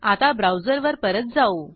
आता ब्राऊजरवर परत जाऊ